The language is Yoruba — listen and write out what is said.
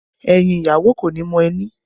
Ẹyin ìyàwó kò ní mọ ẹni